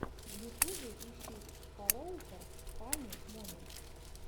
в ютубе ищи фороуфор фанни моментс